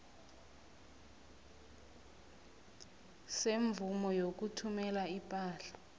semvumo yokuthumela ipahla